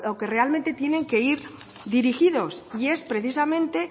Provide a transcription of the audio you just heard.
que realmente tienen que ir dirigidos y es precisamente